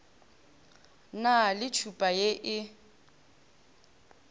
na le tšhupa ye e